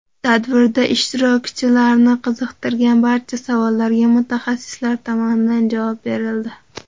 Tadbirda ishtirokchilarni qiziqtirgan barcha savollarga mutaxassislar tomonidan javob berildi.